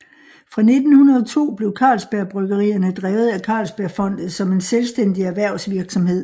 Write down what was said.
Fra 1902 blev Carlsberg Bryggerierne drevet af Carlsbergfondet som en selvstændig erhvervsvirksomhed